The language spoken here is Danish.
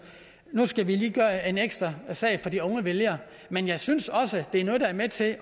nu skal vi lige gøre en ekstra indsats for de unge vælgere men jeg synes også det er noget der er med til